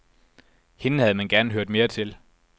Hende havde man gerne hørt mere til.